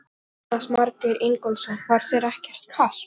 Jónas Margeir Ingólfsson: Var þér ekkert kalt?